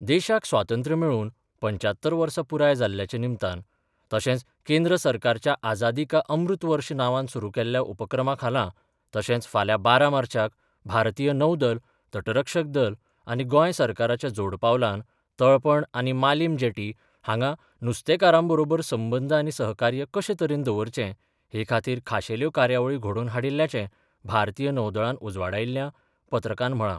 देशाक स्वातंत्र्य मेळून पंच्यात्तर वर्सा पुराय जाल्ल्याच्या निमतान तशेंच केंद्र सरकाराच्या आझादी का अमृत वर्ष नांवान सुरू केल्ल्या उपक्रमा खाला तशेंच फाल्यां बारा मार्चाक भारतीय नौदल, तट रक्षक दल आनी गोंय सरकाराच्या जोड पालवान तळपण आनी मालीम जेटी हांगा नुस्तेकारां बरोबर संबंद आनी सहकार्य कशे तरेन दवरचे हे खातीर खाशेल्यो कार्यावळी घडोवन हाडिल्ल्याचें भारतीय नौदळान उजवाडायिल्ल्या पत्रकांत म्हळां.